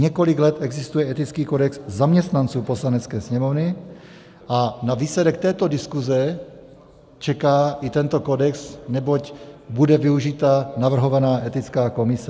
Několik let existuje etický kodex zaměstnanců Poslanecké sněmovny a na výsledek této diskuze čeká i tento kodex, neboť bude využita navrhovaná etická komise.